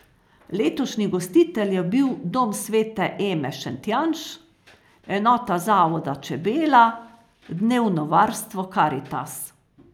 Letošnji gostitelj je bil dom svete Eme Šentjanž, enota zavoda Čebela, dnevno varstvo Karitas.